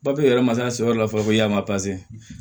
yɛrɛ masa yɔrɔ la fɔlɔ yan mazin